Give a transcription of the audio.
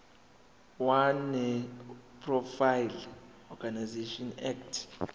wenonprofit organisations act